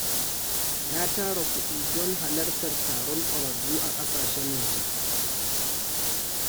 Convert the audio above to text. Na tara kudi don halartar taron ƙwararru a ƙasashen waje.